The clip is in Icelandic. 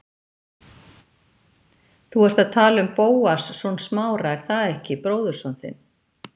Þú ert að tala um Bóas, son Smára, er það ekki, bróðurson þinn?